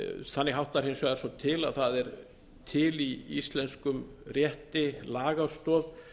þannig háttar hins vegar svo til að það er til í íslenskum rétti lagastoð